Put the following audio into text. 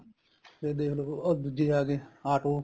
ਤੇ ਦੇਖਲੋ ਉਹ ਦੂਜੇ ਆਗੇ auto